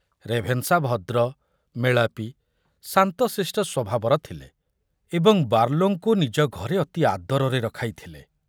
Ravenshaw ଭଦ୍ର, ମେଳାପି, ଶାନ୍ତଶିଷ୍ଟ ସ୍ବଭାବର ଥିଲେ ଏବଂ ବାର୍ଲୋଙ୍କୁ ନିଜ ଘରେ ଅତି ଆଦରରେ ରଖାଇଥିଲେ।